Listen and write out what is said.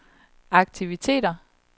aktiviteter